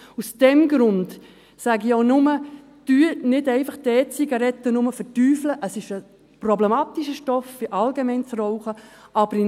Aus diesem Grund sage ich auch nur: Verteufeln Sie die E-Zigaretten nicht nur, es ist ein problematischer Stoff, wie das Rauchen allgemein.